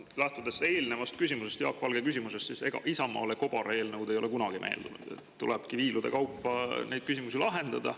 Lähtudes eelnevast, Jaak Valge küsimusest, ega Isamaale ei ole kobareelnõud kunagi meeldinud, tulebki viilude kaupa neid küsimusi lahendada.